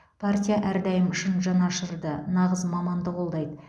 партия әрдайым шын жанашырды нағыз маманды қолдайды